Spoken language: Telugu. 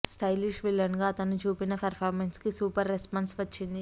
స్టైలిష్ విలన్ గా అతను చూపిన పెర్ఫార్మన్స్ కి సూపర్ రెస్పాన్స్ వచ్చింది